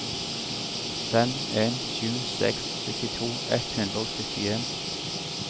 fem en sju seks syttito ett hundre og syttien